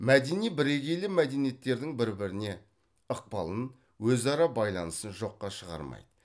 мәдени бірегейлі мәдениеттердің бір біріне ықпалын өзара байланысын жоққа шығармайды